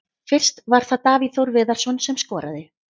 Fyrst var það Davíð Þór Viðarsson sem skoraði.